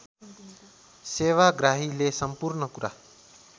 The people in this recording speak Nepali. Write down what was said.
सेवाग्राहीले सम्पूर्ण कुरा